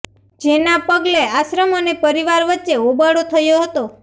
જેના પગલે આશ્રમ અને પરિવાર વચ્ચે હોબાળો થયો હતો